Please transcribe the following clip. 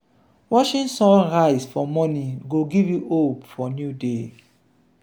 watching sun rise for morning go give you hope for new day.